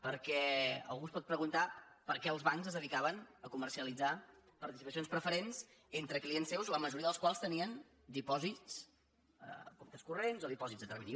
perquè algú es pot preguntar per què els bancs es de·dicaven a comercialitzar participacions preferents en·tre clients seus la majoria dels quals tenien dipòsits comptes corrents o dipòsits a termini